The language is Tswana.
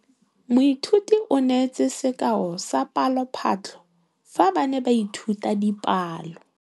Moithuti o neetse sekaô sa palophatlo fa ba ne ba ithuta dipalo.